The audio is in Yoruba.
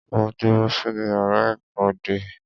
Mo dúró sínú yàrá ẹ̀kọ́ dè ẹ́.